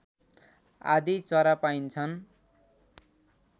आदि चरा पाइन्छन्